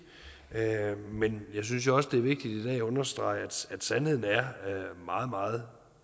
men jeg synes også det er vigtigt at understrege at sandheden er meget meget